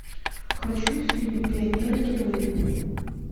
хочу фильм пионеры герои